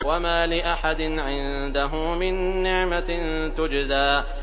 وَمَا لِأَحَدٍ عِندَهُ مِن نِّعْمَةٍ تُجْزَىٰ